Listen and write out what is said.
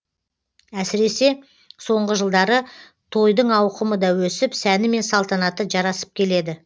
әсіресе соңғы жылдары тойдың ауқымы да өсіп сәні мен салтанаты жарасып келеді